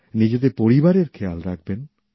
নিজেদের পরিবারের খেয়াল রাখবেন